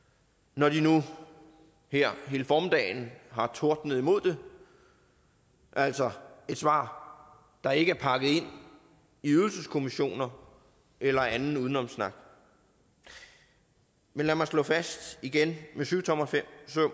når de nu her hele formiddagen har tordnet imod det altså et svar der ikke er pakket ind i ydelseskommissioner eller anden udenomssnak men lad mig slå fast igen med syvtommersøm